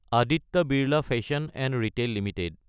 Aditya Birla fashion & retail Ltd